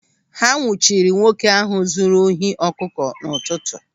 Ha nwụchiri nwoke ahụ zụrụ ohi ọkụkọ n'ụtụtụ.